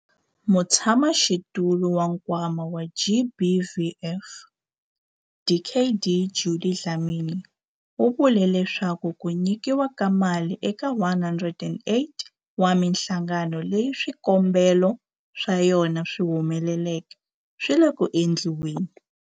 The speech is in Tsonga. Mutshamaxitulu wa Nkwama wa GBVF, Dkd Judy Dlamini, u vule leswaku ku nyikiwa ka mali eka 108 wa mihlangano leyi swikombelo swa yona swi humeleleke swi le ku endliweni.